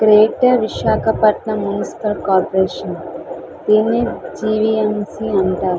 Greater Visakhapatnam municipal corporation దీన్ని GVMC అంటారు.